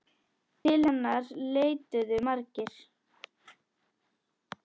Til hennar leituðu margir.